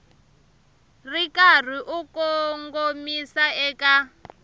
ri karhi u kongomisa eka